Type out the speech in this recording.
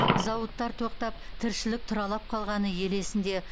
зауыттар тоқтап тіршілік тұралап қалғаны ел есінде